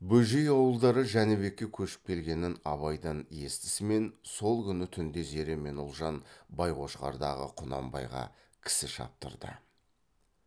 бөжей ауылдары жәнібекке көшіп келгенін абайдан естісімен сол күні түнде зере мен ұлжан байқошқардағы құнанбайға кісі шаптырды